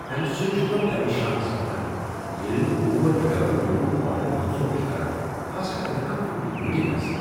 امہ سۭتۍ چھُس بہ پریشان سپدان ییٚلہ تہ اوبر ڈرایور میون آرڈر منسوخ چھ کران خاص کر اگر کانہہ فوری میٹنگ آسہ۔